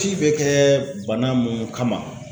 Ci bɛ kɛ bana munnu kama